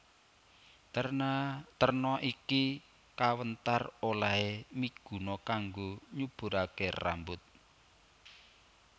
Terna iki kawéntar olehé miguna kanggo nyuburaké rambut